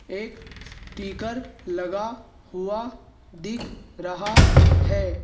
एक स्टिकर लगा हुआ दिख रहा है।